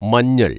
മഞ്ഞള്‍